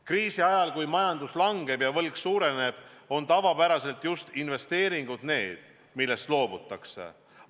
Kriisi ajal, kui majandus langeb ja võlg suureneb, on tavapäraselt just investeeringud need, millest loobutakse.